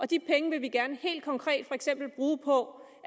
de penge vil vi gerne helt konkret for eksempel bruge på